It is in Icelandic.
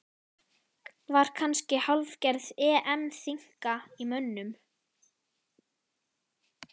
Var kannski hálfgerð EM þynnka í mönnum?